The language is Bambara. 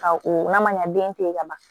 Ka o n'a ma ɲa den te ye ka ban